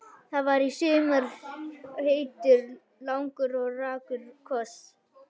Það var í sumar heitur, langur og rakur koss.